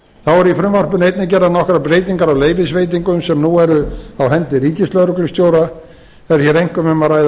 eru í frumvarpinu einnig gerðar nokkrar breytingar á leyfisveitingum sem nú eru á hendi ríkislögreglustjóra er hér einkum um að ræða